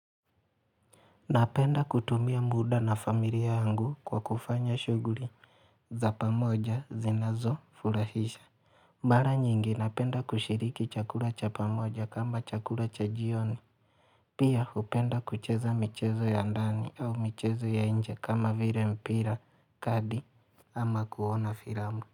Napenda kutumia muda na familia yangu kwa kufanya shughuli za pamoja zinazo furahisha Mara nyingi napenda kushiriki chakula cha pamoja kama chakula cha jioni Pia hupenda kucheza michezo ya ndani au michezo ya nje kama vile mpira kadi ama kuona filamu.